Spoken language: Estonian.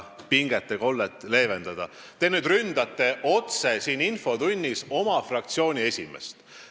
Te ründate otse siin infotunnis oma fraktsiooni esimeest.